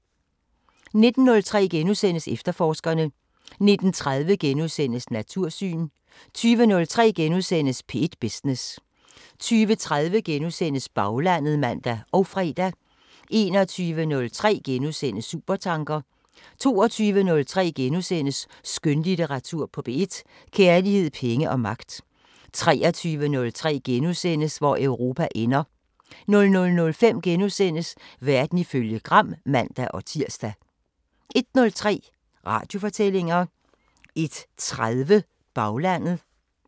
19:03: Efterforskerne * 19:30: Natursyn * 20:03: P1 Business * 20:30: Baglandet *(man og fre) 21:03: Supertanker * 22:03: Skønlitteratur på P1: Kærlighed, penge og magt * 23:03: Hvor Europa ender * 00:05: Verden ifølge Gram *(man-tir) 01:03: Radiofortællinger 01:30: Baglandet